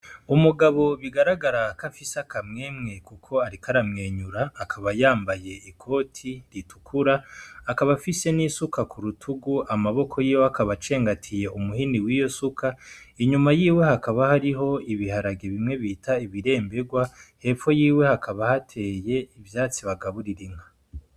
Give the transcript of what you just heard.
Umugabo bigaragara ko afise akamwemwe kuko ariko aramwenyura akaba yambaye ikoti ritukura akaba afise n'isuka kurutugu, amaboko yiwe akaba acengatiye umuhini wiyo suka inyuma yiwe hakaba hariho ibiharage bimwe bita ibirembegwa hepfo yiwe hakaba hateye ivyatsi bagaburira inka.